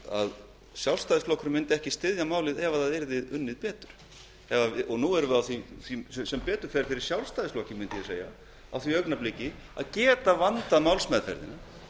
að sjálfstæðisflokkurinn mundi ekki styðja málið ef það yrði unnið betur sem betur fer fyrir sjálfstæðisflokkinn mundi ég segja erum við nú á því augnabliki að geta vandað málsmeðferðina